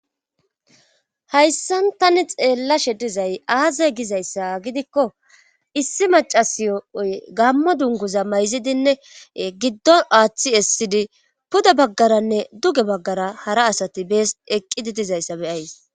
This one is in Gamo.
Hayssan tani xeellashe dizay aazay gizayssa gidikko issi macasiy7oy gammo dunguza mayzidinne giddo aaththi essidi puda baggaranne duge baggara hara asati bees eqqidi dizayssa beyays.